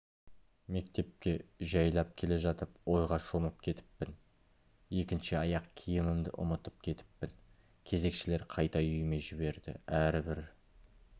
мектепке жайлап келе жатып ойға шомып кетіппін екінші аяқ-киімімді ұмытып кетіппін кезекшілер қайта үйіме жіберді әрбір